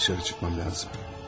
Dışarı çıkmam lazım.